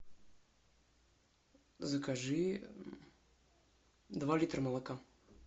закажи два литра молока